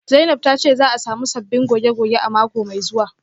Zainab tace za'a samu sabbin goge-goge a mako mai zuwa